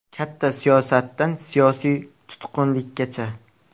Katta siyosatdan siyosiy tutqunlikkacha.